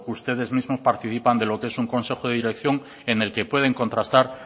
ustedes mismos participan de lo que es un consejo de dirección en el que pueden contrastar